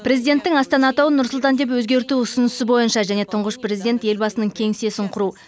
президенттің астана атауын нұр сұлтан деп өзгерту ұсынысы бойынша және тұңғыш президент елбасының кеңсесін құру